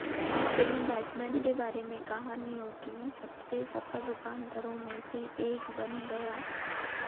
film Batman के बारे में कहानियों की सबसे सफल रूपांतरों में से एक बन गया